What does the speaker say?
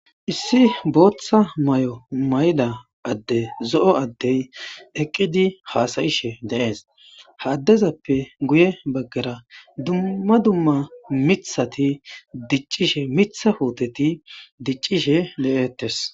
Issi boththa maayo mayida addey zoo addey eqqidi hassayishe dees ha addezappe guuye baagara dumma dumma miththati diccishshi miththa putteti diccishshe deettess.